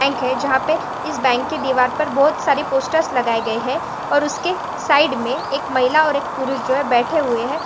Bank है जहा पे इस बैंक के दीवार पर बहोत सारी पोस्टर्स लगाए गए है और उसके साइड मे एक महिला और एक पुरुष जो है बैठे हुए है।